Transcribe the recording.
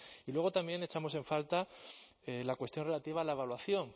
y luego también echamos en falta la cuestión relativa a la evaluación